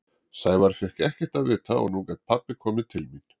Sævar fékk ekkert að vita og nú gat pabbi komið til mín.